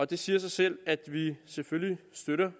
det siger sig selv at vi selvfølgelig støtter